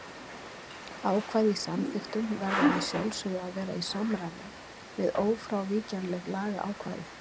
Ákvæði í samþykktum verða að sjálfsögðu að vera í samræmi við ófrávíkjanleg lagaákvæði.